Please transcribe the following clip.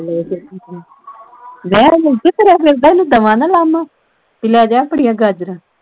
ਬਾਹਰ ਮੁਫਤ ਤੁਰਿਆ ਫਿਰਦਾ ਇਹਨੂੰ ਦਵਾ ਨਾ ਲਾਹਮਾ ਪੀ ਲੈ ਜਾ ਆਪਣੀਆਂ ਗਾਜਰਾਂ